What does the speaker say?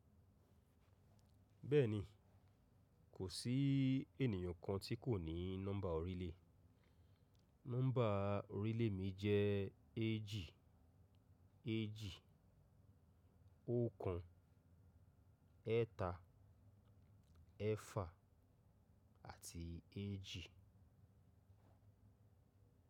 Bẹ́ẹ̀ni, kò sí ènìyàn kan tí kò ní nọ́mbà orílẹ̀. Nọ́mbà orílẹ̀ mi jẹ́ éjì, éjì, ọ̀kan, ẹ́ta, ẹ́fà àti éjì.